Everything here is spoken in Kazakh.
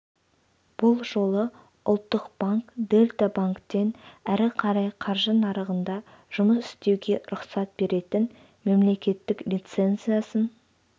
бұл жолы ұлттық банк дельта банктен әрі қарай қаржы нарығында жұмыс істеуге рұқсат беретін мемлекеттік лицензиясын